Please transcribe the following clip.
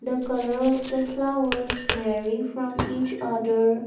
the colour of the flower is very from each other.